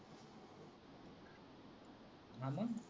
भांडण.